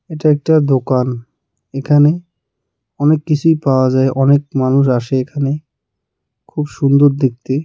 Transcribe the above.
এটা একটা দোকান এখানে অনেক কিছুই পাওয়া যায় অনেক মানুষ আসে এখানে খুব সুন্দর দেখতে.